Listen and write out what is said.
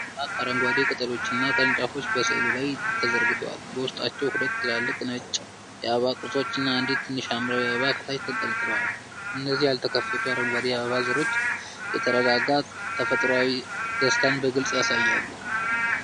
ደማቅ አረንጓዴ ቅጠሎችና ቅርንጫፎች በሥዕሉ ላይ ተዘርግተዋል። በውስጣቸውም ሁለት ትላልቅ ነጭ የአበባ ቅርጾች እና አንዲት ትንሽ ሐምራዊ አበባ ከታች ተንጠልጥለዋል። እነዚህ ያልተከፈቱ አረንጓዴ የአበባ ዘሮች፣ የተረጋጋ ተፈጥሯዊ ደስታን በግልፅ ያሳያሉ።